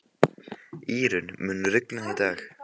Írunn, mun rigna í dag?